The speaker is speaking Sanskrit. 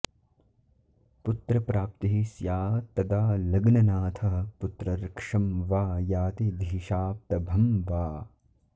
पुत्रप्राप्तिः स्यात्तदा लग्ननाथः पुत्रर्क्षं वा याति धीशाप्तभं वा